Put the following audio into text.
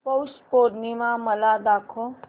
पौष पौर्णिमा मला दाखव